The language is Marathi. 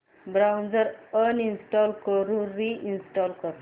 ब्राऊझर अनइंस्टॉल करून रि इंस्टॉल कर